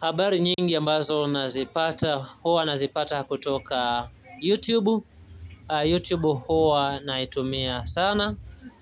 Habari nyingi ambazo nazipata huwa nazipata kutoka YouTube, YouTube huwa naitumia sana,